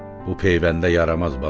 Bu peyvəndə yaramaz bala.